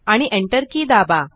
आणि Enter की दाबा